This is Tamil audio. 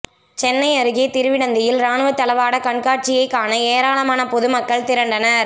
சென்னை அருகே திருவிடந்தையில் ராணுவ தளவாட கண்காட்சியை காண ஏராளமான பொதுமக்கள் திரண்டனர்